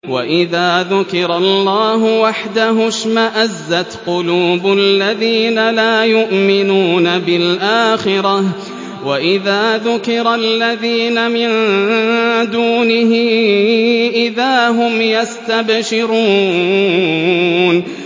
وَإِذَا ذُكِرَ اللَّهُ وَحْدَهُ اشْمَأَزَّتْ قُلُوبُ الَّذِينَ لَا يُؤْمِنُونَ بِالْآخِرَةِ ۖ وَإِذَا ذُكِرَ الَّذِينَ مِن دُونِهِ إِذَا هُمْ يَسْتَبْشِرُونَ